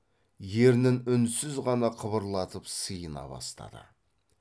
ернін үнсіз ғана қыбырлатып сыйына бастады